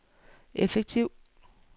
effektiv